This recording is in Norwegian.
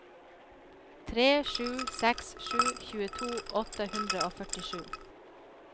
tre sju seks sju tjueto åtte hundre og førtisju